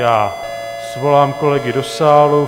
Já svolám kolegy do sálu.